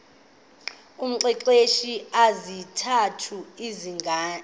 umxelele izizathu ezibangela